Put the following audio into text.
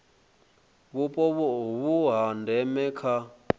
vhupo vhu ha ndeme kha